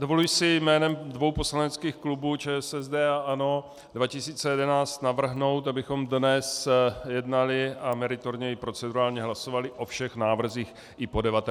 Dovoluji si jménem dvou poslaneckých klubů - ČSSD a ANO 2011 - navrhnout, abychom dnes jednali a meritorně i procedurálně hlasovali o všech návrzích i po 19. hodině.